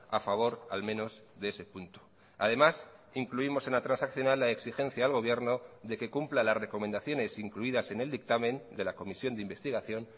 a favor al menos de ese punto además incluimos en la transaccional la exigencia al gobierno de que cumpla las recomendaciones incluidas en el dictamen de la comisión de investigación